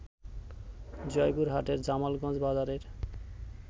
জয়পুরহাটের জামালগঞ্জ বাজারের